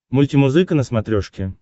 мультимузыка на смотрешке